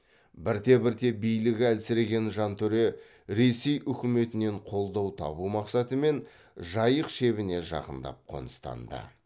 бірте бірте билігі әлсіреген жантөре ресей үкіметінен қолдау табу мақсатымен жайық шебіне жақындап қоныстанды